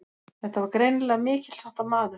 Þetta var greinilega mikilsháttar maður.